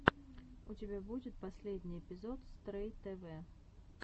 у тебя будет последний эпизод стрэй тэвэ